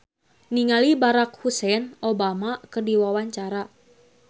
Rina Gunawan olohok ningali Barack Hussein Obama keur diwawancara